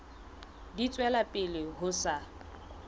di tswela pele ho sa